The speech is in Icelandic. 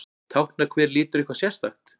Táknar hver litur eitthvað sérstakt?